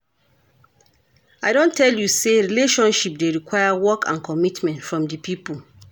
I don tell you sey relationship dey require work and commitment from di pipo.